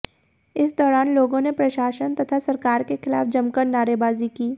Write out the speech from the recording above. इस दौरान लोगों ने प्रशासन तथा सरकार के खिलाफ जमकर नारेबाजी की